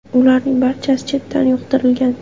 Ularning barchasi chetdan yuqtirilgan.